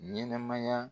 Ɲɛnɛmaya